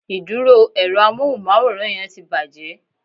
Ìdúró èro amóhùnmáwòrán yẹn ti bàjé